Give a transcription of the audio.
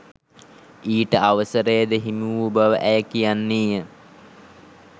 ඊට අවසරයද හිමිවූ බව ඇය කියන්නීය.